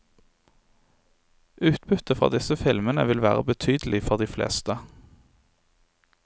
Utbyttet fra disse filmene vil være betydelig for de fleste.